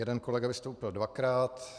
Jeden kolega vystoupil dvakrát.